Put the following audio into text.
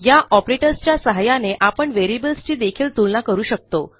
या ऑपरेटर्स सहाय्याने आपण व्हेरिएबल्स ची देखील तुलना करू शकतो